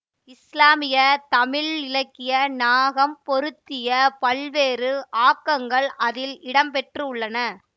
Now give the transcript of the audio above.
இஸ்லாமிய தமிழ் இலக்கிய நாகம் பொருத்திய பல்வேறு ஆக்கங்கள் இதில் இடம்பெற்றுள்ளன